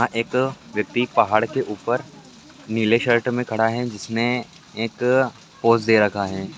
यह एक व्यक्ति पहाड़ के ऊपर नीले शर्ट में खड़ा है जिसने एक पोज दे रखा है।